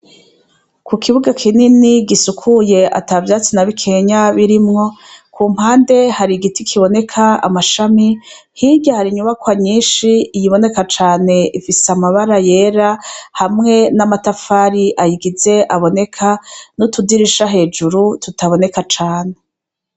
Kukibuga kinini gisukuye atavyatsi nabimwe birimwo kumpande hari igiti kiboneka amashami hirya hari inzu nyinshi iyibonrka cane ifise amabara yera n'utudirisha hejuru tutaboneka cane.